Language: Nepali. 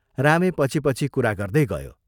रामे पछि पछि कुरा गर्दै गयो।